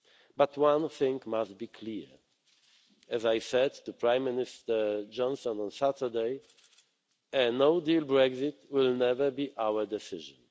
But one thing must be clear as I said to Prime Minister Johnson on Saturday, a no deal Brexit will never be our decision.